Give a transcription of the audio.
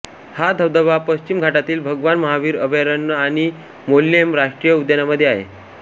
हा धबधबा पश्चिम घाटातील भगवान महावीर अभयारण्य आणि मोल्लेम राष्ट्रीय उद्यानामध्ये आहे